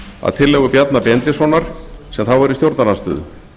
að tillögu bjarna benediktssonar sem þá var í stjórnarandstöðu